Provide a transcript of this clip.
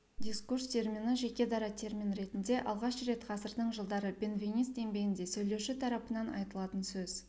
дискурс термині жеке дара термин ретінде алғаш рет ғасырдың жылдары бенвенист еңбегінде сөйлеуші тарапынан айтылатын сөз